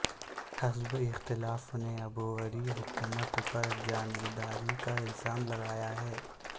حزب اختلاف نے عبوری حکومت پر جانبداری کا الزام لگایا ہے